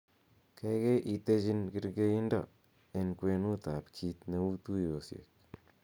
gaigai itejin kergeindo en kwenut ab kiit neu tuyosiek